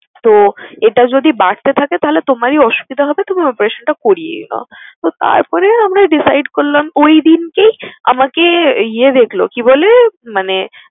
তো এটা যদি বাড়তে থাকে তাহলে তোমারই অসুবিধা হবে, তুমি operation টা করিয়েই নাও। তো তারপরে আমরা decide করলাম ঐদিন কি আমাকে ইয়ে দেখলো কি বলে মানে